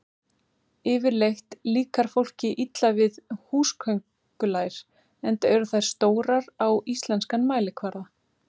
Yfirleitt líkar fólki illa við húsaköngulær enda eru þær stórar á íslenskan mælikvarða.